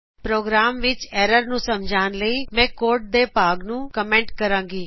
programme ਵਿੱਚ error ਨੂੰ ਸਮਝਣ ਮੈਂ ਕੋਡ ਦੇ ਭਾਗ ਨੂੰ ਕਮੈਂਟ ਕਰਾਗੀ